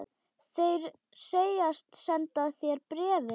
Þeir segjast senda þér bréfin.